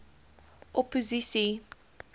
opposisie